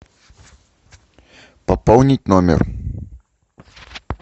пополнить номер